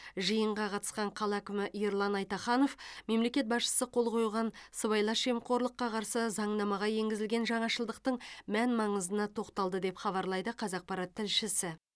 жиынға қатысқан қала әкімі ерлан айтаханов мемлекет басшысы қол қойған сыбайлас жемқорлыққа қарсы заңнамаға енгізілген жаңашылдықтың мән маңызына тоқталды деп хабарлайды қазақпарат тілшісі